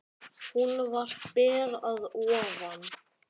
Hún var ber að ofan.